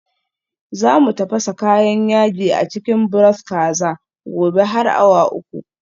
Za mu tafasa kayan yaji a cikin broth kaza. gobe har awa uku